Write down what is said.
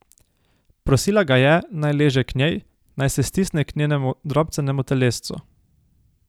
Prosila ga je, naj leže k njej, naj se stisne k njenemu drobcenemu telescu.